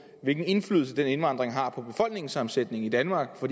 hvilken indflydelse den indvandring har på befolkningssammensætningen i danmark for